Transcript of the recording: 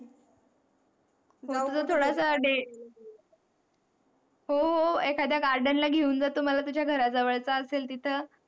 हो हो एखाद्या garden ला घेऊन जातो मला तुझ्या घराजवळ असेल तिथ.